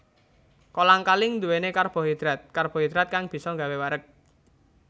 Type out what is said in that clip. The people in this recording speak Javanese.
Kolang kaling nduwèni karbohidratKarbohidrat kang bisa nggawé wareg